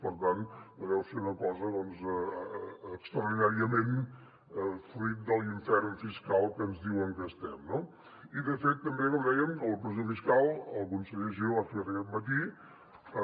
per tant no deu ser una cosa extraordinàriament fruit de l’infern fiscal en que ens diuen que estem no i de fet també com dèiem en la pressió fiscal el conseller giró ho ha explicat aquest matí